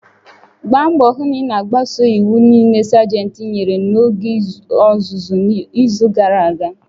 Gbaa mbọ hụ na ị na-agbaso iwu niile Sajentị nyere n'oge ọzụzụ n'izu gara aga!